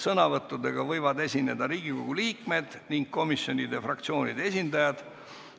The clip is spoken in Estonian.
Sõnavõttudega võivad esineda Riigikogu liikmed ning komisjonide ja fraktsioonide esindajad.